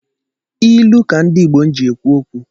Ilu ka ndị Igbo ji-ekwu okwu